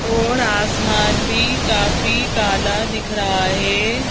और आसमान भी काफी काला दिख रहा है।